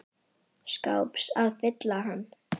skáps að fylla hann.